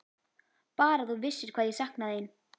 Bara að þú vissir hvað ég sakna þín.